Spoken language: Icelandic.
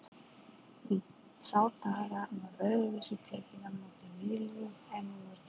Í þá daga var öðruvísi tekið á móti nýliðum en nú er gert.